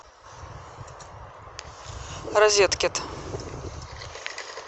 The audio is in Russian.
розеткет